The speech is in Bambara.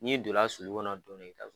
N'i donna sulu kɔnɔ don dɔw i ka